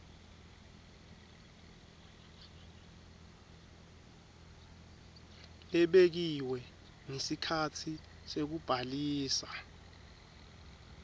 lebekiwe ngesikhatsi sekubhalisa